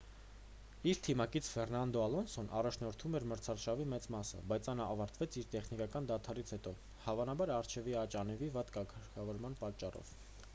իր թիմակից ֆերնանդո ալոնսոն առաջնորդում էր մրցաշավի մեծ մասը բայց այն ավարտեց իր տեխնիկական դադարից հետո հավանաբար առջևի աջ անվի վատ կարգավորման պատճառով